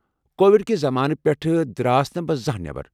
Covid کہ زمانہٕ پیٹھ درٛاس نہٕ بہٕ زانٛہہ نٮ۪بر۔